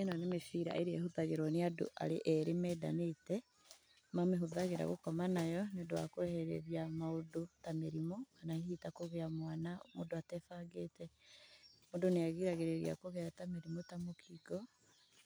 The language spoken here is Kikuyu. ĩno nĩ mĩbira ĩrĩa ĩhũthagĩrwo nĩ andũ arĩ erĩ mendanĩte. Mamĩhũthagĩra gũkoma nayo nĩ ũndũ wa kwehereria maũndũ ta mĩrimũ, kana hihi ta kũgĩa mwana mũndũ atebangĩte. Mũndũ nĩ agiragĩrĩria kũgĩa mĩrimũ ta mũkingo,